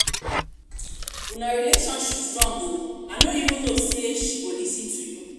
una relationship strong oo i no even know say she go lis ten to you